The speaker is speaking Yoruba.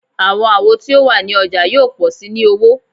Awọn awo ti o wa ni ọja yoo pọ si ni owo